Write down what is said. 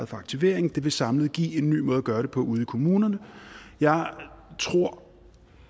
for aktivering det vil samlet give en ny måde at gøre det på ude i kommunerne jeg tror